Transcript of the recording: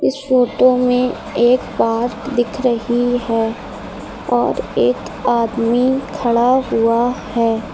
Photo में एक park दिख रही है और एक आदमी खड़ा हुआ है।